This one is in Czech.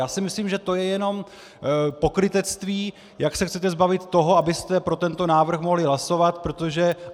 Já si myslím, že to je jenom pokrytectví, jak se chcete zbavit toho, abyste pro tento návrh mohli hlasovat, protože...